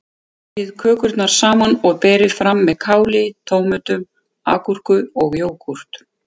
Vefjið kökurnar saman og berið fram með káli, tómötum, agúrku og jógúrt.